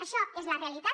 això és la realitat